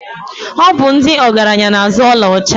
Ọ bụ ndị ọgaranya na-azụ ọlaọcha.